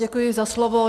Děkuji za slovo.